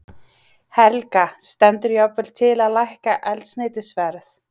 Helga: Stendur jafnvel til að lækka eldsneytisverð?